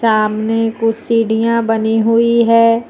सामने कुछ सीढ़ियां बनी हुई है।